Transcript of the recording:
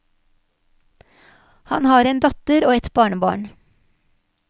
Han har en datter og ett barnebarn.